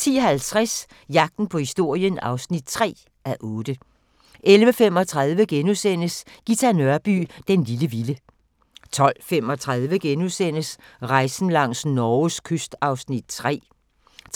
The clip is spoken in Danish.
10:50: Jagten på historien (3:8) 11:35: Ghita Nørby "Den lille vilde" 12:35: Rejsen langs Norges kyst (3:10)*